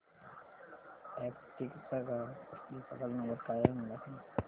Aptech चा ग्राहक देखभाल नंबर काय आहे मला सांग